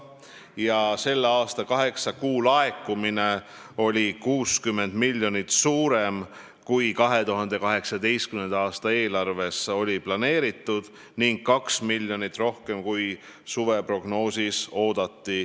Ja selle aasta kaheksa kuu laekumine oli 60 miljonit suurem 2018. aasta eelarves planeeritust ning 2 miljonit rohkem suveprognoosis oodatust.